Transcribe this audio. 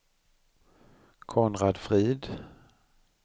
Konrad Frid